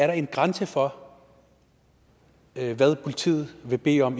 er en grænse for hvad politiet kan bede om